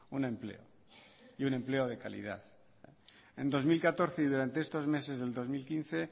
un empleo y un empleo de calidad en dos mil catorce y durante estos meses del dos mil quince